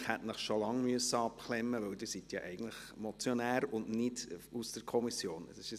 Eigentlich hätte ich Sie schon lange abklemmen müssen, da Sie eigentlich Motionär und nicht Kommissionssprecher sind.